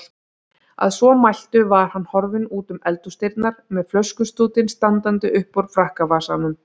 Að svo mæltu var hann horfinn útum eldhúsdyrnar með flöskustútinn standandi uppúr frakkavasanum.